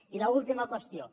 i l’última qüestió